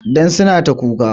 Don suna ta kuka